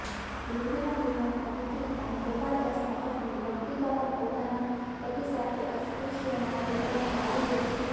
લીંબડીના દીવાનના દીકરી અને ગોપાળદાસના પત્ની ભકિતબા પણ પોતાના પતિ સાથે અસ્પૃશ્યોના વિભાગમાં આવી બેઠા